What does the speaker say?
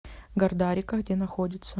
гардарика где находится